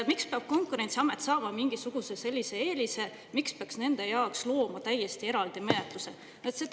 Miks peab Konkurentsiamet saama mingisuguse eelise, miks peaks nende jaoks looma täiesti eraldi menetluse?